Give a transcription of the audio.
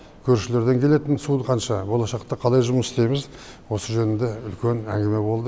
көршілерден келетін суы қанша болашақта қалай жұмыс істейміз осы жөнінде үлкен әңгіме болды